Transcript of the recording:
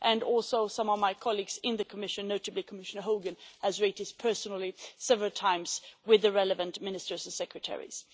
and some of my colleagues in the Commission, notably Commissioner Hogan, have also raised this personally several times with relevant ministers and secretaries